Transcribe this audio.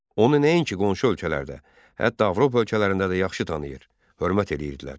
Onu nəinki qonşu ölkələrdə, hətta Avropa ölkələrində də yaxşı tanıyır, hörmət edirdilər.